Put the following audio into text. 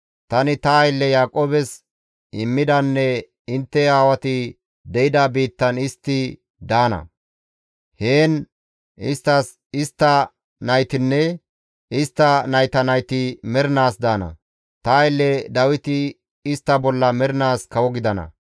Tani ta aylle Yaaqoobes immidanne intte aawati de7ida biittan istti daana. Heen isttas, istta naytinne istta nayta nayti mernaas daana; ta aylle Dawiti istta bolla mernaas kawo gidana.